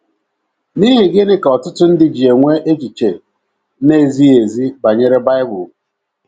N’IHI gịnị ka ọtụtụ ndị ji enwe echiche na - ezighị ezi banyere Bible?